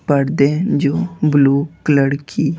पर्दे जो blue colour की--